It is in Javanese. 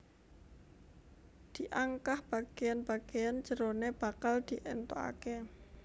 Diangkah bagéan bagéan jeroné bakal diéntukaké